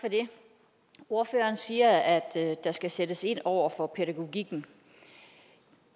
for det ordføreren siger at der skal sættes ind over for pædagogikken